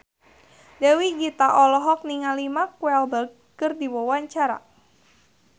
Dewi Gita olohok ningali Mark Walberg keur diwawancara